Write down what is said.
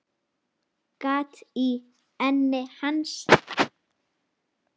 Gat í enni hans.